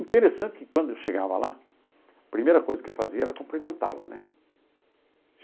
Interessante que quando eu chegava lá, a primeira coisa que eu fazia era cumprimentá-la, né?